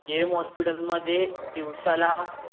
केम hospital मध्ये दिवसाला